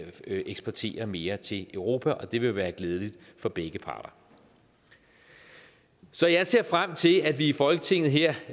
eksportere mere til europa og det vil være glædeligt for begge parter så jeg ser frem til at vi i folketinget her